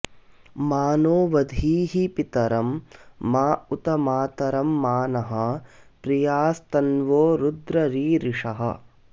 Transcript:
मा नो वधीः पितरं मा उत मातरं मा नः प्रियास्तन्वो रुद्र रीरिषः